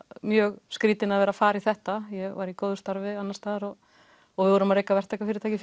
mjög skrýtin að fara í þetta ég var í góðu starfi annars staðar við vorum að reka verktakafyrirtæki